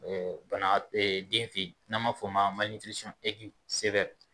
Bana den fɛ yen n'an b'a o fɔ ma